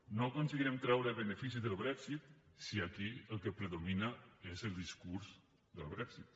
no aconseguirem treure benefici del brexit si aquí el que predomina és el discurs del brexit